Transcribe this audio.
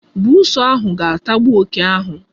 Buusu ahụ ga-atagbu oke ahụ.